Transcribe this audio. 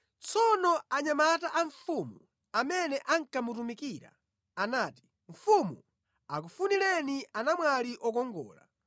Tsono anyamata a mfumu amene ankamutumikira anati, “Mfumu, akufunireni anamwali okongola.